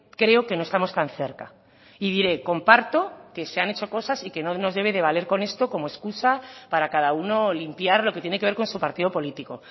creo que no estamos tan cerca y diré comparto que se han hecho cosas y que no nos debe de valer con esto como excusa para cada uno limpiar lo que tiene que ver con su partido político